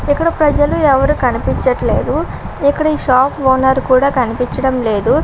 ఇక్కడ ప్రజలు ఎవరు కనిపించట్లేదు. ఇక్కడ ఈ షాప్ ఓనర్ కూడా కనిపించడం లేదు.